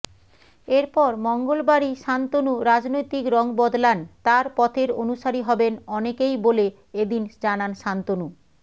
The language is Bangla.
এরপর মঙ্গলবারই শান্তনু রাজনৈতিক রং বদলান তার পথের অনুসারী হবেন অনেকেই বলে এদিন জানান শান্তনু